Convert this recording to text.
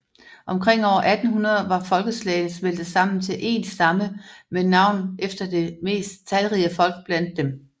Omkring år 1800 var folkeslagene smeltet sammen til én stamme med navn efter det mest talrige folk blandt dem